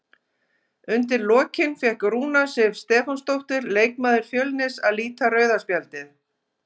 Undir lokin fékk Rúna Sif Stefánsdóttir, leikmaður Fjölnis, að líta rauða spjaldið.